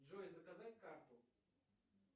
джой заказать карту